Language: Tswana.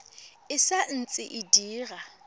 e sa ntse e dira